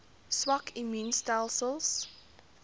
swak immuun stelsels